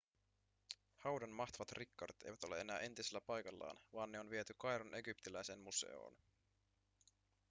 haudan mahtavat rikkaudet eivät ole enää entisellä paikallaan vaan ne on viety kairon egyptiläiseen museoon